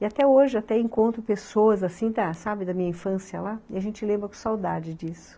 E até hoje, até encontro pessoas assim, sabe, da minha infância lá, e a gente lembra com saudade disso.